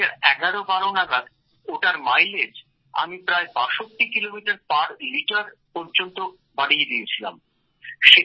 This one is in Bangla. ২০১১১২ নাগাদ ওটার মাইলেজ আমি প্রায় ৬২ কিলোমিটার পার লিটার পর্যন্ত বাড়িয়ে দিয়েছিলাম